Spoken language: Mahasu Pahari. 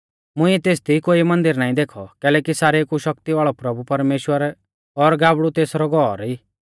मुंइऐ तेसदी कोई मन्दिर नाईं देखौ कैलैकि सारेऊ कु शक्ति वाल़ौ प्रभुपरमेश्‍वर और गाबड़ु तेसरौ घौर ई